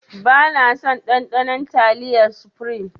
Bana son ɗanɗanon taliyar sufrim